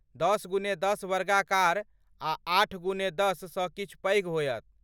दश गुने दश वर्गाकार आ आठ गुने दश सँ किछु पैघ होयत।